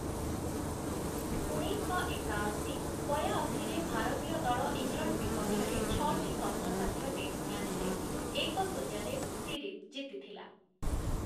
ଉଣେଇଶଶହ ଏକାଅଶୀ - ବୟାଅଶୀରେ ଭାରତୀୟ ଦଳ ଇଂଲଣ୍ଡ ବିପକ୍ଷରେ ଛଅଟି କଷ୍ଟସାଧ୍ୟ ଟେଷ୍ଟ ମ୍ୟାଚ୍‌ରେ ଏକ ଶୁନ୍ୟରେ ସିରିଜ୍ ଜିତିଥିଲା ।